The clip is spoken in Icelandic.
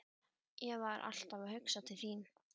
Ég var alltaf að hugsa til þín.